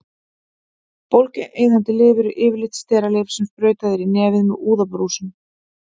Bólgueyðandi lyf eru yfirleitt steralyf sem sprautað er í nefið með úðabrúsum.